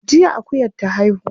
Jiya akuyar ta haihu.